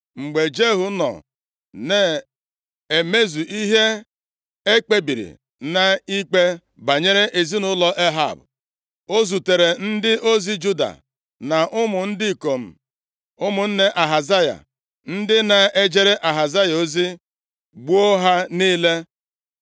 Mgbe Jehu nọ na-emezu ihe e kpebiri nʼikpe banyere ezinaụlọ Ehab, o zutere ndị ozi Juda na ụmụ ndị ikom ụmụnne Ahazaya, ndị na-ejere Ahazaya ozi, gbuo ha niile.